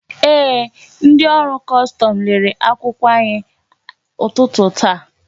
Ee, ndị ọrụ kọstọmụ lelele akwụkwọ anyị n'ụtụtụ ta